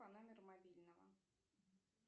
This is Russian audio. по номеру мобильного